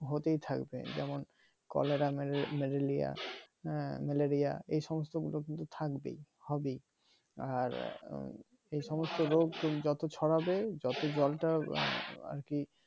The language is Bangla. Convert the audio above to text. হতেই থাকবে যেমন কলেরা ম্যালালিয়া উম ম্যালেরিয়া হ্যাঁ এই সমস্ত গুলো কিন্তু থাকবেই হবেই আর উম এই সমস্ত রোগ যত ছড়াবে যত জলটা আর কি